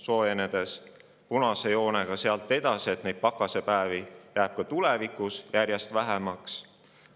Sealt edasi punase joonega näete, et pakasepäevi jääb ka tulevikus järjest vähemaks.